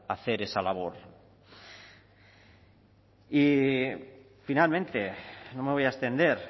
hacer esa labor y finalmente no me voy a extender